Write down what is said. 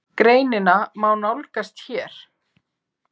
Greinina má nálgast hér.